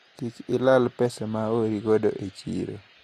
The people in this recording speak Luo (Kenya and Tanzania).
Kik ilal pesa ma oori godo e chiro.